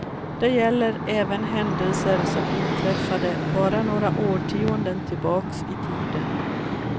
Det gäller även händelser som inträffade bara några årtionden tillbaka i tiden.